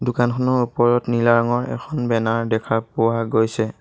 দোকানখনৰ ওপৰত নীলা ৰঙৰ এখন বেনাৰ দেখা পোৱা গৈছে।